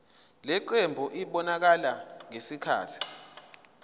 lenqubo ibonakala sengathi